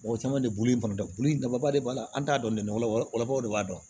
Mɔgɔ caman de bulu kɔni da bolilaba de b'a la an t'a dɔn dɛ wala wala o de b'a dɔn